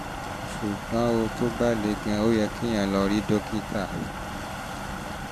ṣùgbọ́n tó bá le gan-an ó yẹ kéèyàn lọ rí lọ rí dókítà